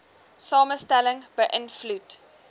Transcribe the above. samestelling be ïnvloed